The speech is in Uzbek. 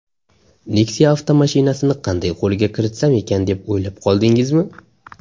Nexia avtomashinasini qanday qo‘lga kiritsam ekan deb o‘ylab qoldingizmi?